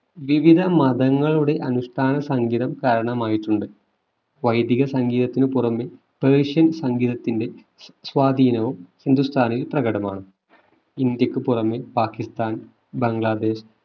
വിവിധ മതങ്ങളുടെ അനുഷ്ഠാന സംഗീതം കാരണമായിട്ടുണ്ട് വൈദിക സംഗീതത്തിന് പുറമേ പ്രവിശ്യൻ സംഗീതത്തിന്റെ സ് സ്വാധീനവും ഹിന്ദുസ്ഥാനിയിൽ പ്രകടമാണ് ഇന്ത്യക്ക് പുറമേ പാക്കിസ്ഥാൻ ബംഗ്ലാദേശ്